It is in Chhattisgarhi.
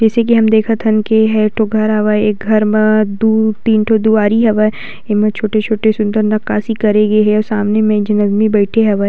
जइसे की हमन देखतहन की एहा एक ठो घर हवय घर म दु तीन ठो दुवारी हवय एमा छोटे-छोटे सुंदर नकाशी करे गे हे अऊ सुंदर मे एक झन आदमी बईथे हवय।